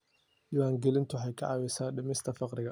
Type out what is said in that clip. Diiwaangelintu waxay caawisaa dhimista faqriga.